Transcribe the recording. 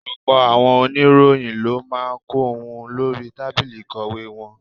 Ọ̀pọ̀ àwọn oníròyìn ló máa ń kọ ohun lórí tábìlì ìkọ̀wé wọn.